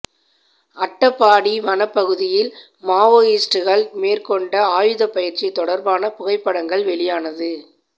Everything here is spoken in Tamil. அட்டப்பாடி வனப்பகுதியில் மவோஸ்ட்டுகள் மேற்கொண்ட ஆயுத பயிற்சி தொடா்பான புகைப்படங்கள் வெளியானது